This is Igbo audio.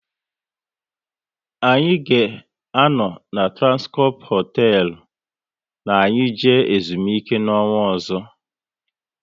Anyị ga anọ na Transcorp hotelu na anyị jee ezumike n'ọnwa ọzọ